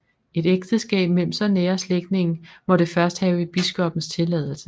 Et ægteskab mellem så nære slægtninge måtte først have biskoppens tilladelse